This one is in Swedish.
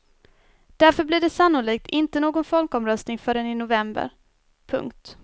Därför blir det sannolikt inte någon folkomröstning förrän i november. punkt